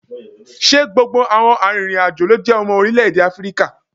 Ṣé gbogbo àwọn arìnrìn-àjò ló jẹ́ ọmọ orílẹ̀ èdè Áfíríkà?